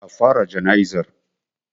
A fara jana'izar.